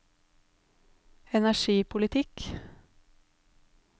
energipolitikk